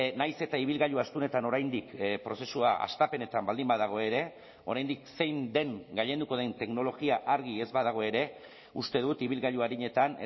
nahiz eta ibilgailu astunetan oraindik prozesua hastapenetan baldin badago ere oraindik zein den gailenduko den teknologia argi ez badago ere uste dut ibilgailu arinetan